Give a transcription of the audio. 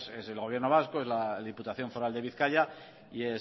pues es el gobierno vasco es la diputación foral de bizkaia y